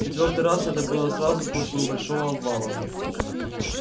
в четвёртый раз это было сразу после небольшого обвала